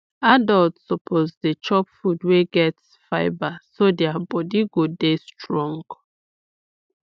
adults suppose dey chop food wey get fibre so their body go dey strong